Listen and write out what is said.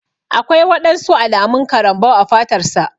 Aƙwai waɗansu alamun karambau a fatar sa.